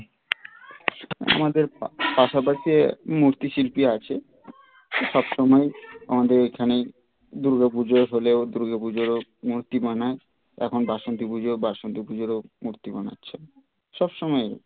আমাদের পাশাপাশি মূর্তি শিল্পী আছে সবসময় আমাদের এখানে দূর্গা পুজো হলেও দূর্গা পুজোর মূর্তি বানায় এখন বাসন্তী পুজো বাসন্তী পুজোর মূর্তি বানাচ্ছে সবসময় হচ্ছে